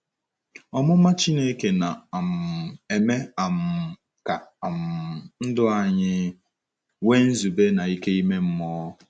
Ọmụma Chineke na - um eme um ka um ndụ anyị nwee nzube na ike ime mmụọ.